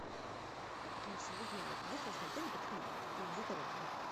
алиса узнай есть ли у нас в отеле банкомат или где то рядом